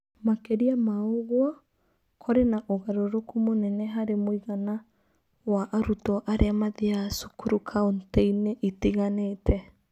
Makĩria ma ũguo, kũrĩ na ũgarũrũku mũnene harĩ mũigana wa arutwo arĩa mathiaga cukuru kaunti-inĩ itiganĩte.